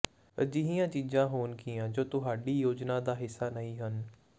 ਅਜਿਹੀਆਂ ਚੀਜ਼ਾਂ ਹੋਣਗੀਆਂ ਜੋ ਤੁਹਾਡੀ ਯੋਜਨਾ ਦਾ ਹਿੱਸਾ ਨਹੀਂ ਹਨ